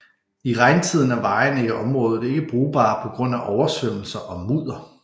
I regntiden er vejene i området ikke brugbare på grund af oversvømmelser og mudder